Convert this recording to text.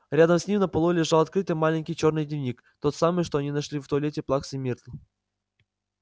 рядом с ним на полу лежал открытый маленький чёрный дневник тот самый что они нашли в туалете плаксы миртл